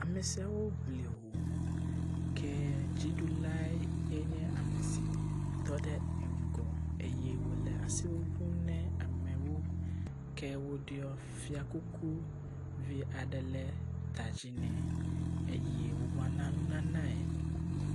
Ame siawo ŋli ho ke dziɖulae nye ame si tɔ ɖe ŋgɔ wòle asi ŋuŋum ne amewo. Ke woɖɔ fia kuku vi aɖe le ta dzi nɛ eye wobe woana nunanae.